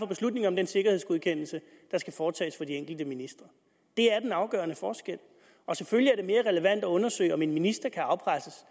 beslutning om den sikkerhedsgodkendelse der skal foretages af de enkelte ministre det er den afgørende forskel og selvfølgelig er det mere relevant at undersøge om en minister kan afpresses